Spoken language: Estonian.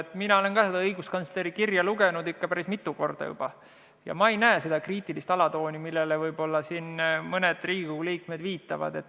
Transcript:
Ka mina olen seda õiguskantsleri kirja lugenud – päris mitu korda – ja ma ei näe seal seda kriitilist alatooni, millele mõned Riigikogu liikmed viitavad.